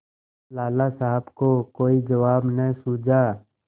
लाला साहब को कोई जवाब न सूझा